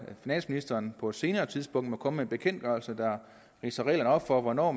finansministeren på et senere tidspunkt må komme bekendtgørelse der ridser reglerne op for hvornår